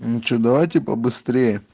ну что давайте побыстрее